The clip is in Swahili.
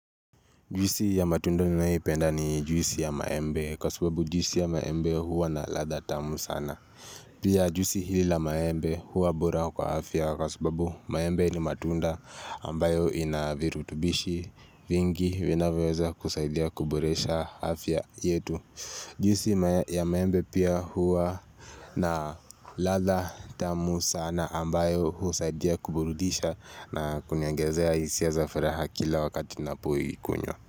Juisi ya matunda ninayoipenda ni juisi ya maembe kwa subabu juisi ya maembe huwa na ladha tamu sana. Pia juisi hii la maembe huwa bora kwa afya kwa sababu maembe ni matunda ambayo inavirutubishi vingi vinavyoweza kusaidia kuboresha afya yetu. Jwisi ya maembe pia huwa na ladha tamu sana ambayo husaidia kuburudisha na kuniongezea hisia za furaha kila wakati ninapoikunywa.